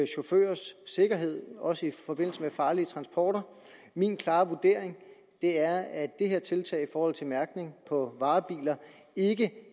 chaufførers sikkerhed også i forbindelse med farlige transporter min klare vurdering er at det her tiltag i forhold til mærkning på varebiler ikke